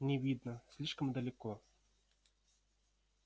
не видно слишком далеко